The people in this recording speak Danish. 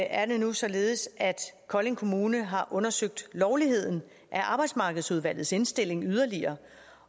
er det nu således at kolding kommune yderligere har undersøgt lovligheden af arbejdsmarkedsudvalgets indstilling